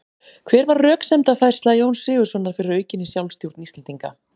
Hver var röksemdafærsla Jóns Sigurðssonar fyrir aukinni sjálfstjórn Íslendinga?